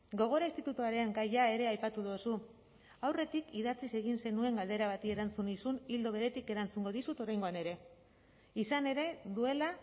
gogora institutuaren gaia ere aipatu duzu aurretik idatziz egin zenuen galdera bati erantzun nizun ildo beretik erantzungo dizut oraingoan ere izan ere duela